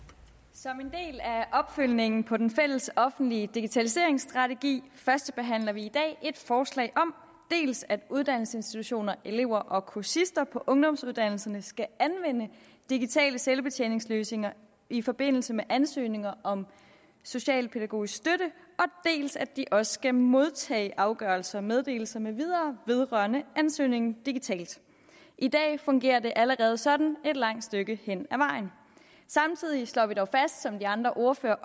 som en del af opfølgningen på den fællesoffentlige digitaliseringsstrategi førstebehandler vi i dag et forslag om dels at uddannelsesinstitutioner elever og kursister på ungdomsuddannelserne skal anvende digitale selvbetjeningsløsninger i forbindelse med ansøgninger om specialpædagogisk støtte dels at de også skal modtage afgørelser meddelelser med videre vedrørende ansøgningen digitalt i dag fungerer det allerede sådan et langt stykke hen ad vejen samtidig slår vi dog fast som de andre ordførere